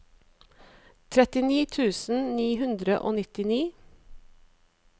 trettini tusen ni hundre og nittini